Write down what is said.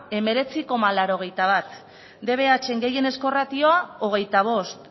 hemeretzi koma laurogeita bat dbhn gehienezko ratioa hogeita bost